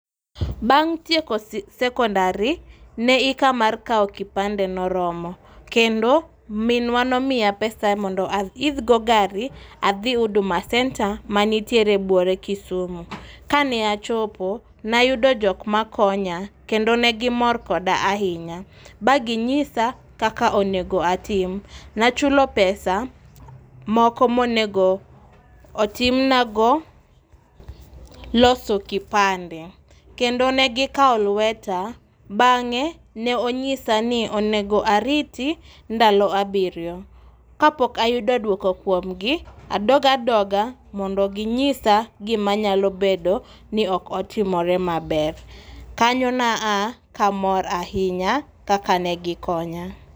Bang' tieko sekondari, ne hika mar kawo kipande ne oromo kendo minwa nomiya pesa mondo aidhgo gari adhi Huduma Centre mantiere buore Kisumu. Kane achopo ne ayudo jok makonya kendo ne gimor koda ahinya ba ginyisa kaka onego atim. Ne achulo pesa moko ma onego otim nago loso kipande kendo ne gikawo lweta bang'e ne onyisa ni onego ariti ndalo abiriyo. Kapok ayudo duoko kuom gi adog adoga mondo ginyisa gima nyalo bedo ni ok otimore maber. Kanyo ne aa ka amor ahinya kaka ne gikonya.